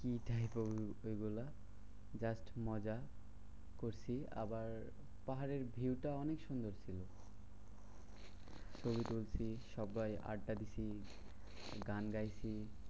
কি খাই problem ওগুলা just মজা করছি। আবার পাহাড়ের view টা অনেক সুন্দর ছিল। ছবি তুলছি সবাই আড্ডা দিচ্ছি গান গাইছি।